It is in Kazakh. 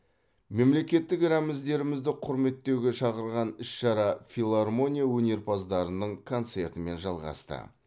мемлекеттік рәміздерімізді құрметтеуге шақырған іс шара филармония өнерпаздарының концертімен жалғасты